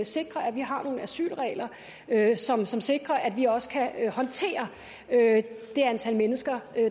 sikre at vi har nogle asylregler som sikrer at vi også kan håndtere det antal mennesker